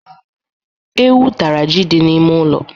Ewu tara ji dị n'ime ụlọ.